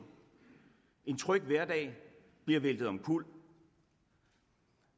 en tryg hverdag bliver væltet omkuld